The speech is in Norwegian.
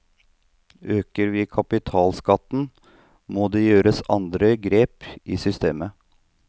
Øker vi kapitalskatten, må det gjøres andre grep i systemet.